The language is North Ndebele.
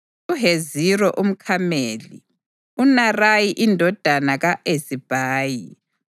uHeziro umKhameli, uNarayi indodana ka-Ezibhayi,